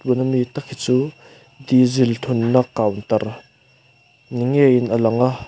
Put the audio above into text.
tûn ami tak hi chu dizil kauntar ni ngeiin a lang a.